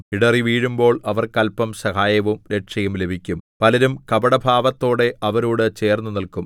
ഇടറിവീഴുമ്പോൾ അവർക്ക് അല്പം സഹായവും രക്ഷയും ലഭിക്കും പലരും കപടഭാവത്തോടെ അവരോട് ചേർന്നുനിൽക്കും